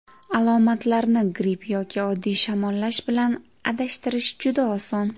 Alomatlarni gripp yoki oddiy shamollash bilan adashtirish juda oson.